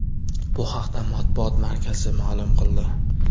Bu haqda matbuot markazi ma’lum qildi .